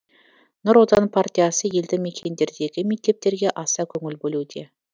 нұр отан партиясы елді мекендердегі мектептерге аса көңіл бөлуде